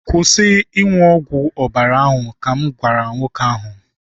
Kwụsị ịṅụ ọgwụ ọbara ahụ! ka m gwara m nwoke ahụ